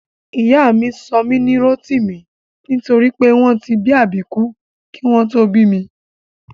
Ìyá mi sọ mí ní Rótìmí nítorí pé wọn tí bí àbíkú kí wọ́n tó bí mi